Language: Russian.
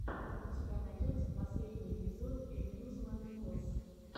у тебя найдется последний эпизод эмьюзмент фос